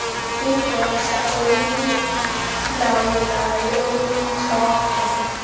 igosa elilawulayo eliyintloko